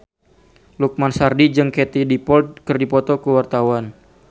Lukman Sardi jeung Katie Dippold keur dipoto ku wartawan